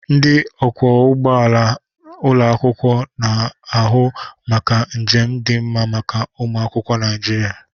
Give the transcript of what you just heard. Ndị ọkwọ ụgbọ ala ụlọ akwụkwọ nọ na-ahụ maka njem dị mma maka ụmụ akwụkwọ Naịjirịa.